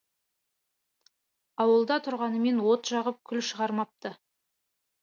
ауылда тұрғанымен от жағып күл шығармапты